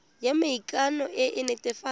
ya maikano e e netefatsang